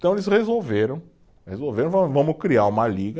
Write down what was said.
Então eles resolveram, resolveram, va vamos criar uma Liga,